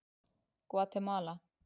Gvatemala